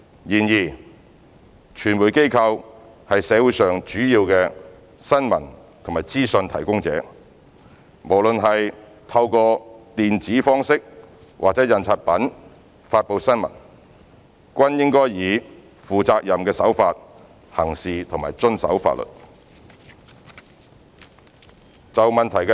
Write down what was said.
然而，傳媒機構是社會上主要的新聞及資訊提供者，無論是透過電子方式或印刷品發布新聞，均應以負責任的手法行事和遵守法律。